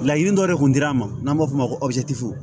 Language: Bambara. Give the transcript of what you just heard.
Laɲini dɔ de kun dira an ma n'an b'a fɔ o ma ko